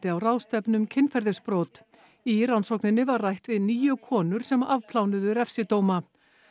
á ráðstefnu um kynferðisbrot í rannsókninni var rætt við níu konur sem refsidóma